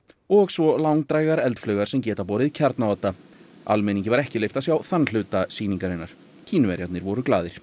og svo langdrægar eldflaugar sem geta borið kjarnaodda almenningi var ekki leyft að sjá þann hluta sýningarinnar Kínverjarnir voru glaðir